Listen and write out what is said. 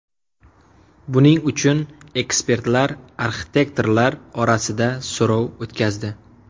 Buning uchun ekspertlar arxitektorlar orasida so‘rov o‘tkazdi.